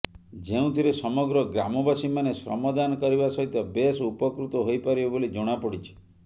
ଯେଉଁଥିରେ ସମଗ୍ର ଗ୍ରାମବାସୀମାନେ ଶ୍ରମଦାନ କରିବା ସହିତ ବେଶ ଉପକୃତ ହୋଇପାରିବେ ବୋଲି ଜଣାପଡିଛି